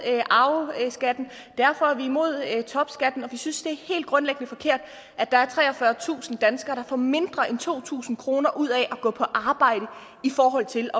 arveskatten derfor er vi imod topskatten vi synes det er helt grundlæggende forkert at der er treogfyrretusind danskere der får mindre end to tusind kroner ud af at gå på arbejde i forhold til